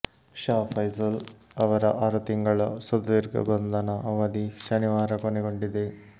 ಶಾ ಫೈಸಲ್ ಅವರ ಆರು ತಿಂಗಳ ಸುದೀರ್ಘ ಬಂಧನ ಅವಧಿ ಶನಿವಾರ ಕೊನೆಗೊಂಡಿದೆ